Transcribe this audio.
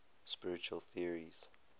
spiritual theories